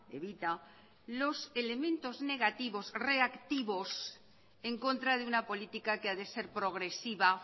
evita los elementos negativos reactivos en contra de una política que ha de ser progresiva